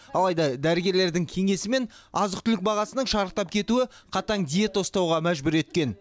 алайда дәрігерлердің кеңесі мен азық түлік бағасының шарықтап кетуі қатаң диета ұстауға мәжбүр еткен